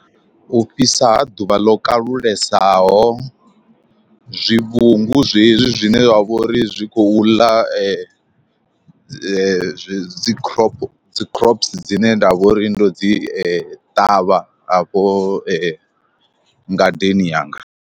U fhisa ha ḓuvha ḽo kalulesaho, zwivhungu zwezwi zwine zwa vhori zwi khou ḽa dzi dzi crop dzi crops dzine nda vhori ndo dzi ṱavha afho ngadeni yanga.